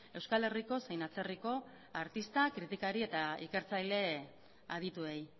euskal herriko zein atzerriko artista kritikari eta ikertzaile adituei